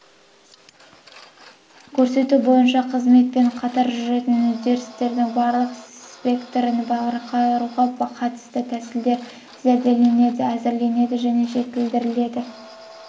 көрсету бойынша қызметпен қатар жүретін үдерістердің барлық спектрін басқаруға қатысты тәсілдері зерделенеді әзірленеді және жетілдіріледі